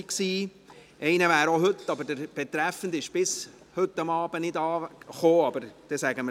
Einer ist eigentlich heute, aber der Betreffende war bis und mit heute Abend nicht anwesend.